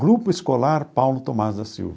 Grupo escolar Paulo Thomaz da Silva.